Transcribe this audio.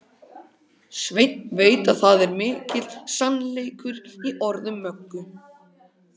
Svenni veit að það er mikill sannleikur í orðum Möggu.